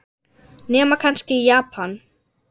Nema kannski í Japan.